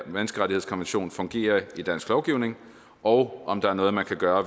menneskerettighedskonvention fungerer i dansk lovgivning og om der er noget man kan gøre